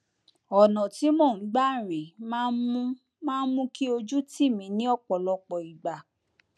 ọnà tí mò ń gbà rìn máa ń mú máa ń mú kí ojú tì mí ní ọpọlọpọ ìgbà